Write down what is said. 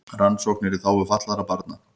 Rannsóknir í þágu fatlaðra barna